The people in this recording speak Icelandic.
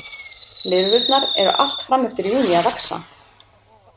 Lirfurnar eru allt fram eftir júní að vaxa.